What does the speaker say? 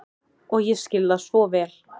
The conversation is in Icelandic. Og ég skil það svo vel.